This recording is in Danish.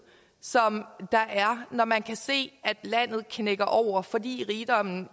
som der er når man kan se landet knække over fordi rigdommen